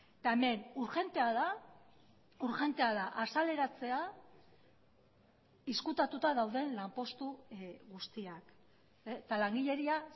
eta hemen urgentea da urgentea da azaleratzea ezkutatuta dauden lanpostu guztiak eta langileria